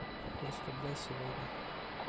курс рубля сегодня